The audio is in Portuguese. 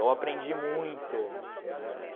Eu aprendi muito, né.